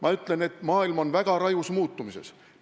Ma ütlen, et maailm on väga rajus muutumises.